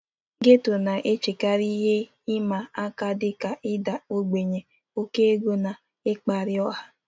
Getto na-echekarị ihe ịma aka dị ka ịda ogbenye, oke ego, na mkparị ọha.